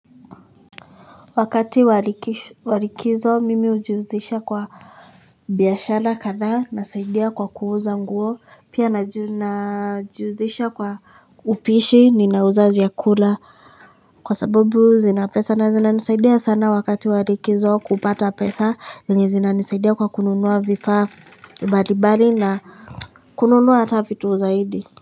Wakati wa likizo mimi hujihusisha kwa biashara kadhaa nasaidia kwa kuuza nguo pia najihusisha kwa upishi ninauza vyakula kwa sababu zina pesa na zinanisaidia sana wakati wa likizo kupata pesa zenye zinanisaidia kwa kununua vifaa mbalimbali na kununua hata vitu zaidi.